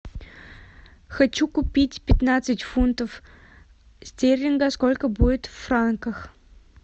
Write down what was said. хочу купить пятнадцать фунтов стерлингов сколько будет в франках